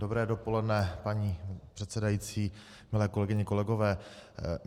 Dobré dopoledne, paní předsedající, milé kolegyně, kolegové.